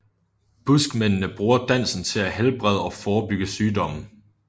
Buskmændene bruger dansen til at helbrede og forebygge sygdomme